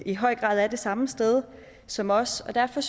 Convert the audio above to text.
i høj grad er det samme sted som os derfor